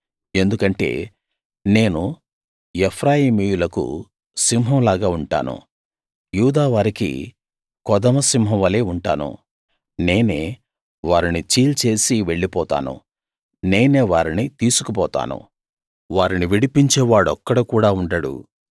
ఎందుకంటే నేను ఎఫ్రాయిమీయులకు సింహం లాగా ఉంటాను యూదావారికి కొదమ సింహం వలే ఉంటాను నేనే వారిని చీల్చేసి వెళ్ళిపోతాను నేనే వారిని తీసుకుపోతాను వారిని విడిపించే వాడొక్కడు కూడా ఉండడు